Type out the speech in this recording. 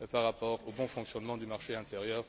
et par rapport au bon fonctionnement du marché intérieur.